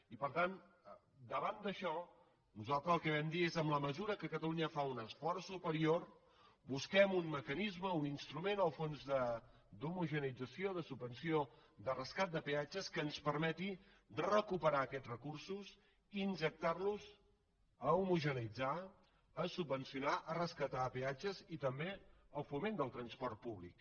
i per tant davant d’això nosaltres el que vam dir és en la mesura que catalunya fa un esforç superior busquem un mecanisme un instrument el fons d’homogeneïtzació de subvenció de rescat de peatges que ens permeti recuperar aquests recursos injectar los a homogeneïtzar a subvencionar a rescatar peatges i també al foment del transport públic